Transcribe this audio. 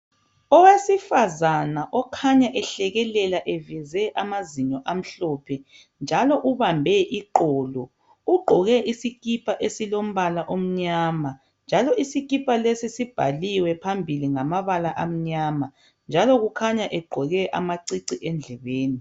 Owesifazana okhanya ehlekelela eveze amazinyo amhlophe njalo ubambe iqolo. Ugqoke isikipa esilombala omnyama njalo isikipa lesi sibhaliwe phambili ngamabala amnyama njalo kukhanya egqoke amacici endlebeni.